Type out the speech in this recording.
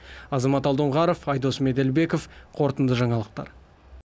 азамат алдоңғаров айдос меделбеков қорытынды жаңалықтар